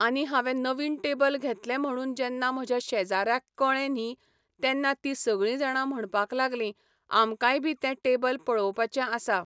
आनी हांवें नवीन टेबल घेतलें म्हणून जेन्ना म्हज्या शेजाऱ्यांक कळ्ळें न्ही तेन्ना तीं सगळीं जाणां म्हणपाक लागलीं, आमकांय बी तें टेबल पळोवपाचें आसा.